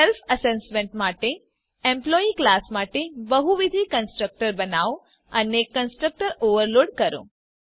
self assessment માટે employee class માટે બહુવિધ કન્સ્ટ્રકટર્સ બનાવો અને કન્સ્ટ્રક્ટર ઓવરલોડ કરો